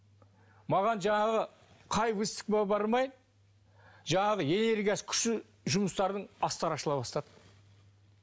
маған жаңағы қай выставкаға бармайын жаңағы энергиясы күшті жұмыстардың астары ашыла бастады